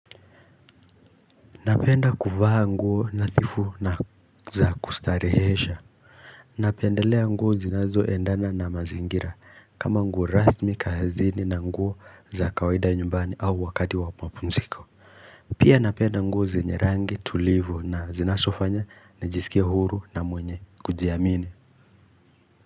Napenda kuvaa nguo nathifu na za kustarehesha Napendelea nguo zinazoendana na mazingira kama nguo rasmi kahazini na nguo za kawaida nyumbani au wakati wa mapunziko Pia napenda nguo zenye rangi tulivu na zinasofanya nijisikie huru na mwenye kujiamini.